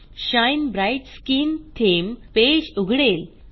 shine bright skin theme page उघडेल